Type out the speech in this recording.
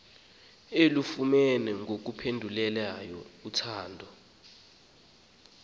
ulufumene ngokupheleleyo uthando